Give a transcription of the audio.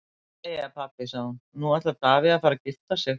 Jæja pabbi, sagði hún, nú ætlar Davíð að fara að gifta sig.